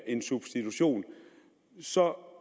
en substitution så